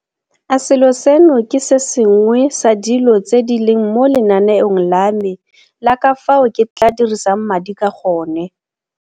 A selo seno ke se sengwe sa dilo tse di leng mo lenaneong la me la ka fao ke tla dirisang madi ka gone?